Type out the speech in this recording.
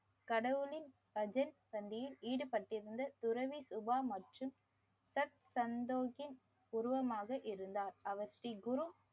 கடவுளின் பஜன் சந்தியில் ஈடுபட்டிருந்து துறவி சுபா மற்றும் தத் தன்தோகின் உருவமாக இருந்தார். அவர் ஸ்ரீ குரு